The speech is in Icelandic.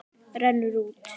Rennur út.